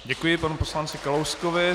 Děkuji panu poslanci Kalouskovi.